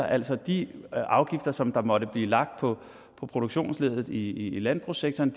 altså de afgifter som måtte blive lagt på produktionsleddet i landbrugssektoren